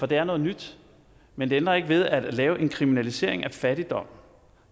det er noget nyt men det ændrer ikke ved at det at lave en kriminalisering af fattigdom